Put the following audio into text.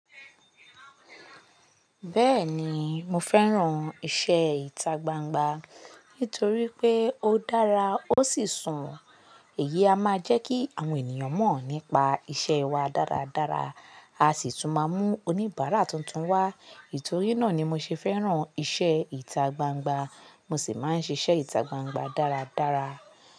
Bẹ́ẹ̀ni, mo fẹ́ràn iṣẹ́ ìta gbangba nítorí pé ó dára ó sì sùnwon. Èyí a máa jẹ́ kí àwọn ènìyàn mọ̀ nípa iṣẹ́ wa dáradára. A sì tún máa mú oníbàárà tuntun wá. Nitòrí náà ni mo ṣe fẹ́ràn iṣẹ́ ìta gbangba. Mo sì máa ń ṣiṣẹ́ ìta gbangba dáradára.